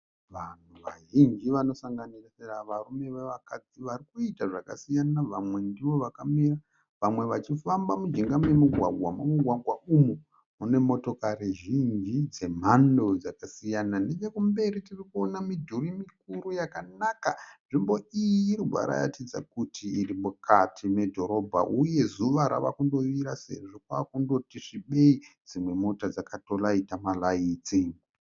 Vanhu vazhinji vanosanganisira varume nevakadzi vari kuita zvakasiyana . Vamwe ndovakamira vamwe vachifamba mujinga memugwagwa. Mumugwagwa umu munemotokari zhinji dzemhando dzakasiyana nechekumberi tirikuona midhuri mikuru yakanaka . Nzvimbo iyi irikuratidza kuti irimukati medhorobha uye zuva rava kundovira Sezvo kwakunoti svibei . Dzimwe mota dzakato rayita marayiti.